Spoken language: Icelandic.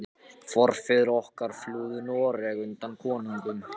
Forfeður okkar flúðu Noreg undan konungum.